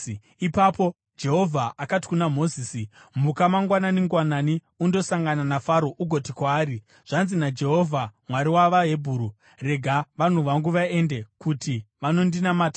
Ipapo Jehovha akati kuna Mozisi, “Muka mangwanani-ngwanani undosangana naFaro ugoti kwaari, ‘Zvanzi naJehovha Mwari wavaHebheru: Rega vanhu vangu vaende, kuti vanondinamata,